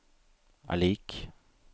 er lik